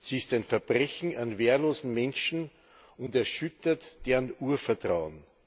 Sie ist ein Verbrechen an wehrlosen Menschen und erschüttert deren Urvertrauen.